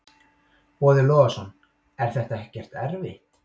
Boði Logason: Er þetta ekkert erfitt?